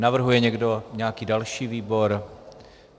Navrhuje někdo nějaký další výbor?